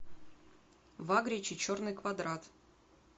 вагрич и черный квадрат